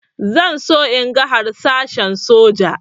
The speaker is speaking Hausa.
Zan so in ga harsashen soja